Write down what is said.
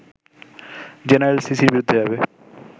general সিসির বিরুদ্ধে যাবে